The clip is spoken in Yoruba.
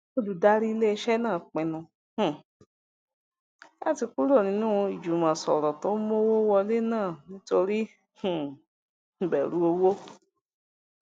olùdarí iléiṣẹ náà pinnu um láti kúrò nínú ìjùmọsòrò tó ń mówó wọlé náà nítorí um ìbèrù owó